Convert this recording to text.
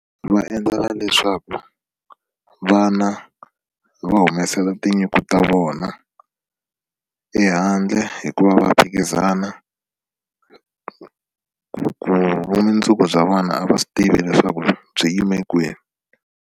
Va endlela leswaku vana va humesela tinyiko ta vona ehandle hikuva va phikizana vumundzuku bya vana a va swi tivi leswaku byi yime kwini.